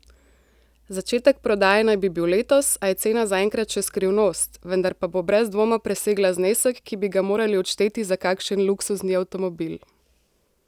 Začetek prodaje naj bi bil letos, a je cena zaenkrat še skrivnost, vendar pa bo brez dvoma presegla znesek, ki bi ga morali odšteti za kakšen luksuzni avtomobil.